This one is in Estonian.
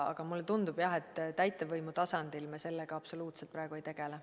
Aga mulle tundub, jah, et täitevvõimu tasandil me praegu sellega absoluutselt ei tegele.